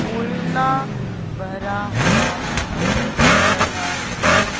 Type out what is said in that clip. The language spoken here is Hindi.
कोयला भरा हुआ दिख रहा है।